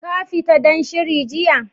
Ka fita dan shiri jiya?